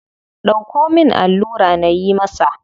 Dauko min allura nayi masa.